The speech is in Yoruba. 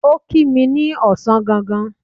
Ó kí mi ní ọ̀sán gangan.